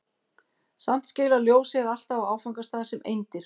Samt skilar ljós sér alltaf á áfangastað sem eindir.